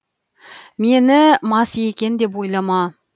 мені мас екен деп ойламаа